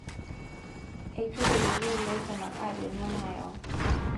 Eitu eyiolou laisumak ajo nyoo nayau.